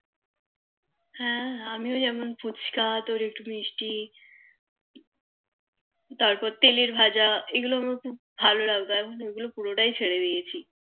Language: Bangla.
হ্যাঁ আমিও যেমন ফুচকা তোর মিষ্টি তারপর তেলের ভাজা এগুলো আমার খুব ভালো লাগে এখন এগুলো পুরো টাই ছেড়ে দিয়েছি